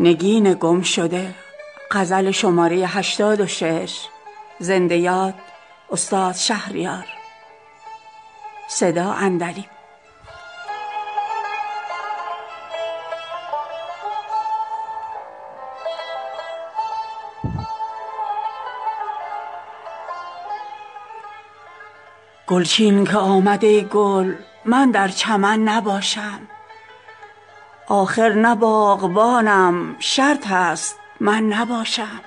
گلچین که آمد ای گل من در چمن نباشم آخر نه باغبانم شرط است من نباشم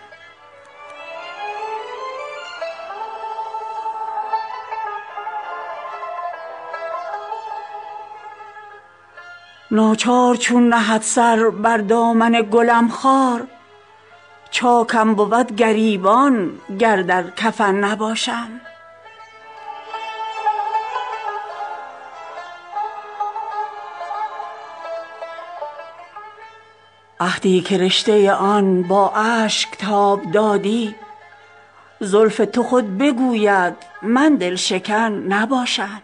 ناچار چون نهد سر بر دامن گلم خار چاکم بود گریبان گر در کفن نباشم عهدی که رشته آن با اشک تاب دادی زلف تو خود بگوید من دل شکن نباشم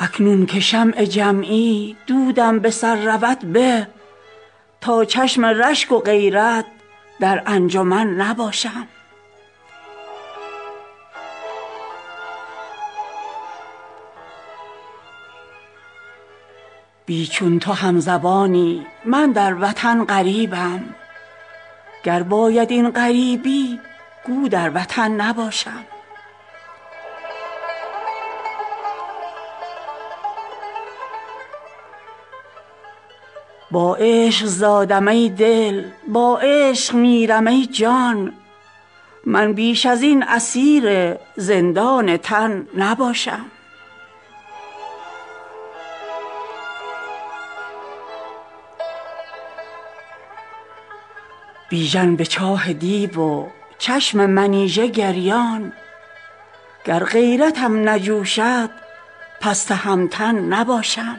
اکنون که شمع جمعی دودم به سر رود به تا چشم رشک و غیرت در انجمن نباشم بی چون تو همزبانی من در وطن غریبم گر باید این غریبی گو در وطن نباشم عشقم به خلوت شب با غنچه های وحشی ست من بلبلم حریف زاغ و زغن نباشم گیرم نگین جم بود اکنون که یاوه کردم محتاج مهره بازی با اهرمن نباشم با عشق زادم ای دل با عشق میرم ای جان من بیش از این اسیر زندان تن نباشم بیژن به چاه دیو و چشم منیژه گریان گر غیرتم نجوشد پس تهمتن نباشم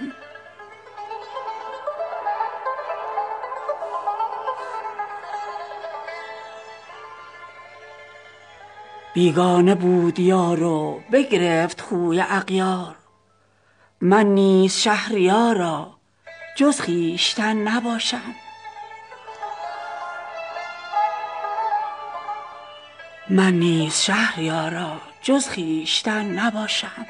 بیگانه بود یار و بگرفت خوی اغیار من نیز شهریاراجز خویشتن نباشم